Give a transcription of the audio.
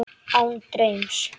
Án draums.